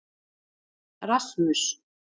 Rasmus